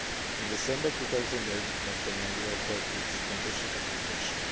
In December 2008 Montenegro filed its membership application.